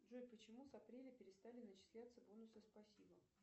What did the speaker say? джой почему с апреля перестали начисляться бонусы спасибо